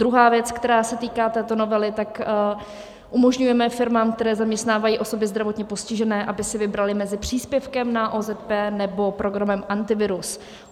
Druhá věc, která se týká této novely, tak umožňujeme firmám, které zaměstnávají osoby zdravotně postižené, aby si vybraly mezi příspěvkem na OZP, nebo programem Antivirus.